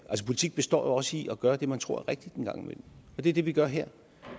politik består jo også i at gøre det man tror er rigtigt en gang imellem det er det vi gør her